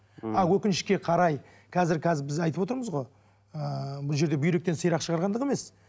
а өкінішке қарай қазір біз айтып отырмыз ғой ы бұл жерде бүйректен сирақ шығарғандық емес